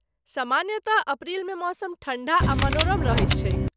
सामान्यतः, अप्रैल मे मौसम ठण्ढा आ मनोरम रहैत छैक ।